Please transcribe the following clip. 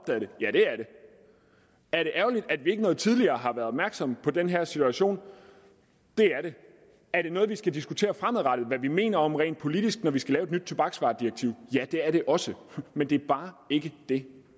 det ja det er det er det ærgerligt at vi ikke noget tidligere har været opmærksomme på den her situation det er det er det noget vi skal diskutere fremadrettet hvad vi mener om rent politisk når vi skal lave et nyt tobaksvaredirektiv ja det er det også men det er bare ikke det